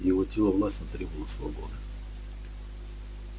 его тело властно требовало свободы